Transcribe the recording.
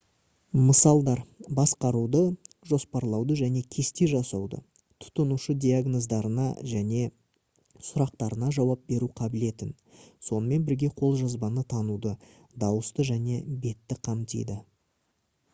мысалдар басқаруды жоспарлауды және кесте жасауды тұтынушы диагноздарына және сұрақтарына жауап беру қабілетін сонымен бірге қолжазбаны тануды дауысты және бетті қамтиды